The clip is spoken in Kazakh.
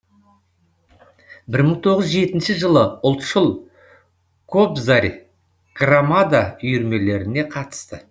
бір мың тоғыз жүз жетінші жылы ұлтшыл кобзарь громада үйірмелеріне қатысты